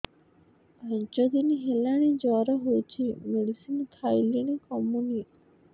ପାଞ୍ଚ ଦିନ ହେଲାଣି ଜର ହଉଚି ମେଡିସିନ ଖାଇଲିଣି କମୁନି